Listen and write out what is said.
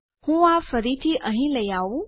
હું આ ફરીથી અહીં લઇ આઉં